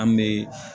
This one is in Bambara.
An bɛ